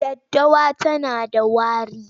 Daddawa tana da wari.,